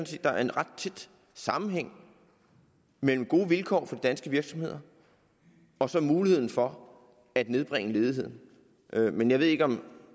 set der er en ret tæt sammenhæng mellem gode vilkår for de danske virksomheder og så muligheden for at nedbringe ledigheden men jeg ved ikke om